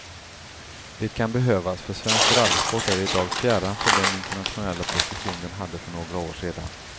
Det kan behövas, för svensk rallysport är idag fjärran från den internationella position den hade för några år sedan.